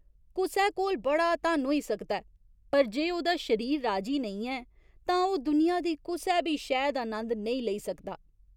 कुसै कोल बड़ा धन होई सकदा ऐ पर जे ओह्दा शरीर राजी नेईं ऐ तां ओह् दुनिया दी कुसै बी शैऽ दा नंद नेईं लेई सकदा।